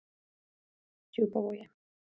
Djúpavogi